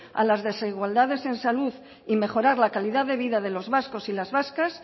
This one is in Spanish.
a las desigualdades en salud y mejorar la calidad de vida de los vascos y las vascas